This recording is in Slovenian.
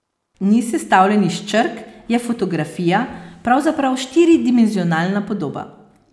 Ni sestavljen iz črk, je fotografija, pravzaprav štiridimenzionalna podoba.